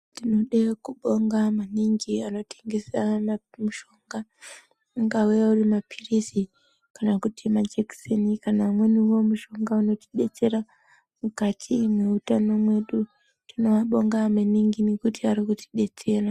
Tinode kubonga maningi anotengesa mushonga ungave wemapirizi kana kuti majekiseni kana umweniwo mushonga unotidetsera mukati mweutano mwedu tinoabonga maningi ngekuti ari kutidetsera